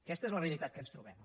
aquesta és la realitat que ens trobem